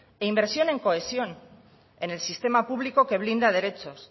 inversión en cohesión en el sistema público que